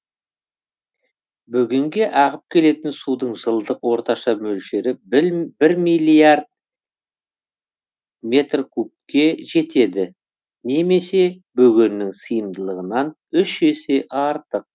бөгенге ағып келетін судың жылдық орташа мөлшері бір миллиард метр кубке жетеді немесе бөгеннің сыйымдылығынан үш есе артық